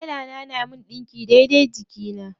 Tela na yana min ɗinki daidai jikina.